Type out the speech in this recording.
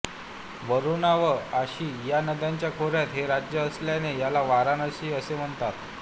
वरूणा व अशी या नद्यांच्या खोर्यात हे राज्य असल्याने याला वाराणशी असेही म्हणत